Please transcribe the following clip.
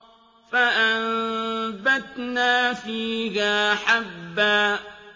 فَأَنبَتْنَا فِيهَا حَبًّا